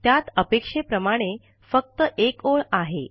त्यात अपेक्षेप्रमाणे फक्त एक ओळ आहे